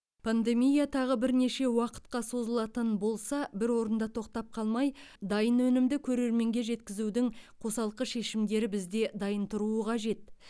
пандемия тағы бірнеше уақытқа созылатын болса бір орында тоқтап қалмай дайын өнімді көрерменге жеткізудің қосалқы шешімдері бізде дайын тұруы қажет